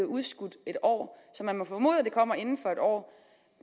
udskudt en år så man må formode at den kommer inden for en år